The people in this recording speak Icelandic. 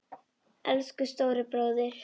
Elsku stóri bróðir!